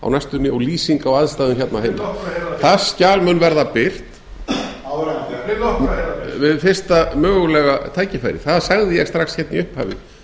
næstunni og lýsing á aðstæðum hérna heima láttu okkur heyra það hérna það skjal mun verða birt láttu okkur heyra það við fyrsta mögulega tækifæri það sagði ég strax í upphafi